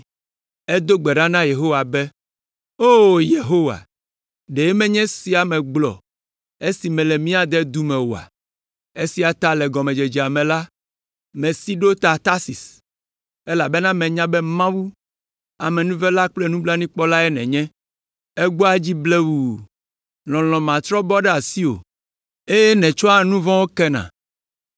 Edo gbe ɖa na Yehowa be, “O Yehowa, ɖe menye esiae megblɔ esi mele mía dedu me oa? Esia ta le gɔmedzedzea me la, mesi ɖo ta Tarsis, elabena menya be Mawu, amenuvela kple nublanuikpɔlae nènye. Ègbɔa dzi blewu; lɔlɔ̃ matrɔ bɔ ɖe asiwò, eye nètsɔa nu vɔ̃wo kena.